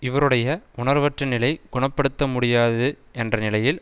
இவருடைய உணர்வற்ற நிலை குண படுத்த முடியாது என்ற நிலையில்